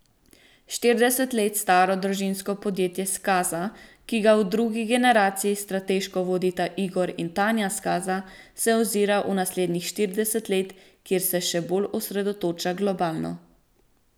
Štirideset let staro družinsko podjetje Skaza, ki ga v drugi generaciji strateško vodita Igor in Tanja Skaza, se ozira v naslednjih štirideset let, kjer se še bolj osredotoča globalno.